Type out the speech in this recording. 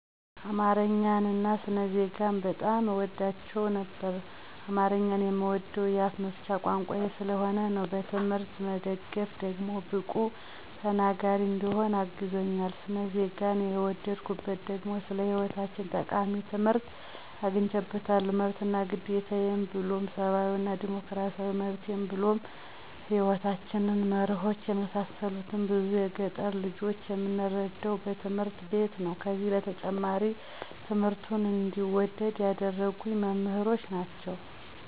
አማረኛን አና ስነ ዜጋን በጣም አወዳቸው ነበር። አማረኛን የምወደዉ የአፋ መፍቻ ቋንቋየ ስለሆነ ነዉ። በትምሕርት መደገፍ ደግሞ ብቁ ተናገሪ እንድሆን አግዞኛል። ሰነ ዜገን የወደድኩት ደግሞ ስለ ሐይወታችን ጠቃሚ ትምሕርት አግኝየበታለሁ መብት አና ግዴታችን ብሉም ሰባዊ እና ዲሞክራሲያዊ መብቴን ብሉም የሕይወታችን መረሆች የመሳሰሉትን ብዙ የገጠር ልጆች የምንረዳዉ በትምህርት ቤት ነዉ። ከዚ በተጨማሪ ትምሕርቱን እንድወደዉ ያደረጉኝ መምሕሮቸ ናቸዉ።